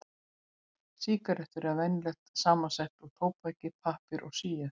Sígarettur eru venjulega samsettar úr tóbaki, pappír og síu.